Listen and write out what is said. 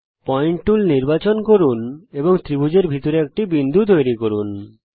point tool নির্বাচন করুন এবং ত্রিভুজের ভেতরে একটি বিন্দু তৈরি করুন